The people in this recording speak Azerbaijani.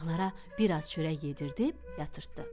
Uşaqlara biraz çörək yedirdib yatırtdı.